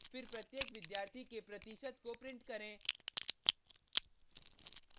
फिर प्रत्येक विद्यार्थी के प्रतिशत को प्रिंट करें